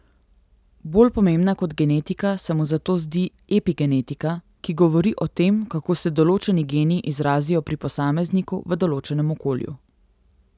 Bolj pomembna kot genetika se mu zato zdi epigenetika, ki govori o tem, kako se določeni geni izrazijo pri posamezniku, v določenem okolju.